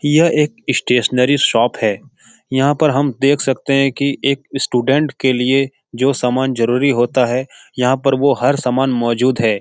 यह एक stationery shop है यहाँ पर हम देख सकते हैं कि एक स्टूडेंट के लिए जो सामान जरुरी होता है यहाँ पर वो हर सामान मौजूद है।